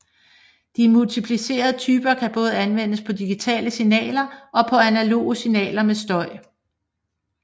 De multiplicerende typer kan både anvendes på digitale signaler og på analoge signaler med støj